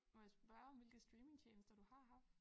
Må jeg spørge om hvilke streamingtjenester du har haft?